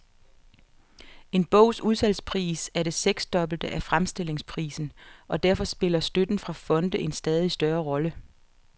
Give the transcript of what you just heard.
En bogs udsalgspris er det seksdobbelte af fremstillingsprisen, og derfor spiller støtten fra fonde en stadig større rolle.